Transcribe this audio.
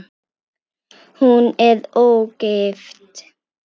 Hún er ógift.